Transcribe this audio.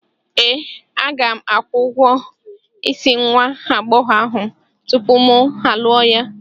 Ee, aga m akwụ ụgwọ isi nwa agbọghọ ahụ tupu mụ alụọ ya.